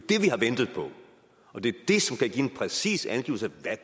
har ventet på og det er det som kan give en præcis angivelse af